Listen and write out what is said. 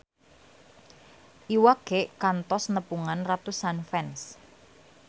Iwa K kantos nepungan ratusan fans